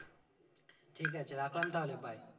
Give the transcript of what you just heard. ঠিক আছে রাখলাম তাহলে bye